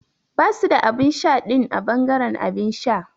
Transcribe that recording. Basu da abinsha din a bangaren abinsha.